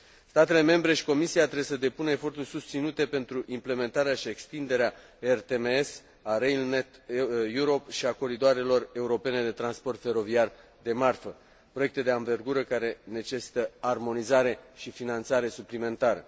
Statele membre și Comisia trebuie să depună eforturi susținute pentru implementarea și extinderea ERTMS, a Rail Net Europe și a coridoarelor europene de transport feroviar de marfă, proiecte de anvergură care necesită armonizare și finanțare suplimentară.